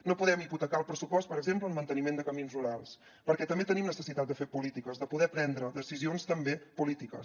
no podem hipotecar el pressupost per exemple en manteniment de camins rurals perquè també tenim necessitat de fer polítiques de poder prendre decisions també polítiques